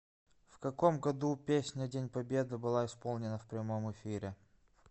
в каком году песня день победы была исполнена в прямом эфире